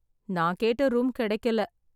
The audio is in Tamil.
நான் கேட்ட ரூம் கிடைக்கல